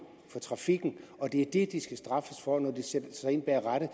for trafikken og det er det de skal straffes for når de sætter sig ind bag rattet